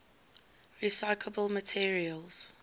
recyclable materials